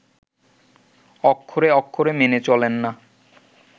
অক্ষরে অক্ষরে মেনে চলেন না